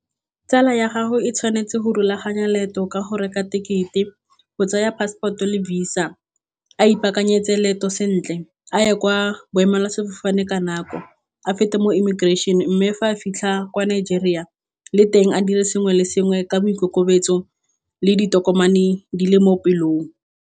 Tsala ya gago e tshwanetse go rulaganya leeto ka go reka tekete, go tsaya passport-o le visa, a ipaakanyetse leeto sentle a ye kwa boemela sefofane ka nako, a feta mo immigration, mme fa a fitlha kwa Nigeria le teng a dire sengwe le sengwe ka boikokobetso le ditokomane di le mo pelong.